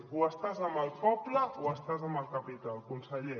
o estàs amb el poble o estàs amb el capital conseller